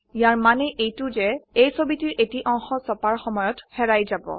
ইয়াৰ মানে এইতোও যে এই ছবিটোৰ এটি অংশ ছপাৰ সময়ত হেৰায় যাব